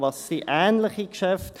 Was sind ähnliche Geschäfte?